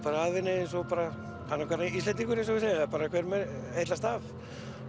af henni eins og annar hver Íslendingur eins og þeir segja hver heillast af